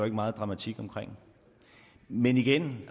meget dramatik omkring men igen